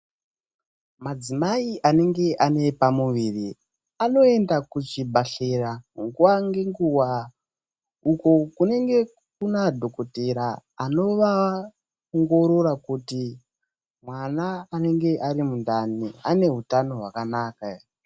Madzimai anenge ane pamuviri , anoenda kuchibhedhlera nguwa ngenguwa. Uko kunenge kuna dhokothera anovaongorora kuti mwana anenge ari mundani ane utano wakanaka ere?